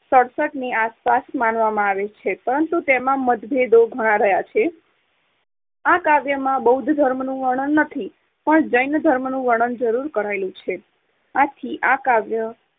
સડસઠ ની આસપાસ માનવામાં આવે છે, પરંતુ તેમાં મતભેદો ઘણા રહ્યા છે. આ કાવ્યમાં બૌદ્ધ ધર્મનુંં વર્ણન નથી, પણ જૈન ધર્મનું વર્ણન જરૂર કરાયેલું છે. આથી આ કાવ્ય